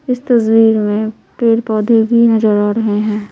इस तस्वीर में पेड़-पौधे भी नजर आ रहे हैं।